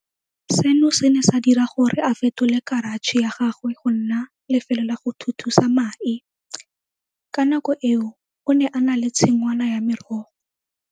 Seno se ne sa dira gore a fetole karatšhe ya gagwe go nna lefelo la go thuthusa mae. Ka nako eo o ne a na le tshingwana ya merogo.